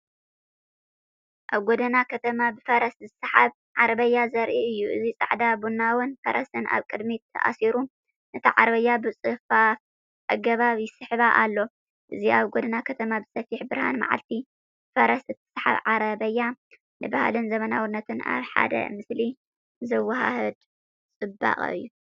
ኣብ ጎደና ከተማ ብፈረስ ዝስሓብ ዓረብያ ዘርኢ እዩ። እዚ ጻዕዳን ቡናውን ፈረስ ኣብ ቅድሚት ተኣሲሩ ነታ ዓረብያ ብጽፉፍ ኣገባብ ይስሕባ ኣሎ። እዚ ኣብ ጎደና ከተማ ብሰፊሕ ብርሃንመዓልቲ ብፈረስ እትሰሓብ ዓረብያ፡ንባህልን ዘመናዊነትን ኣብ ሓደ ምስሊ ዘወሃህድ ጽባቐ እዩ።